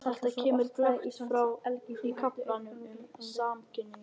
Þetta kemur glöggt fram í kaflanum um samkynhneigð.